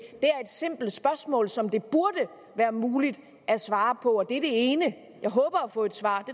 simpelt spørgsmål som det burde være muligt at svare på det er det ene jeg håber at få et svar og